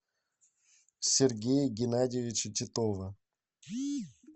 сергея геннадьевича титова